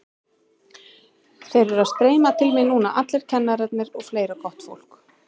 Þeir eru að streyma til mín núna allir kennararnir og fleira gott fólk.